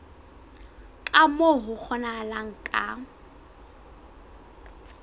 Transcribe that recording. ka moo ho kgonahalang ka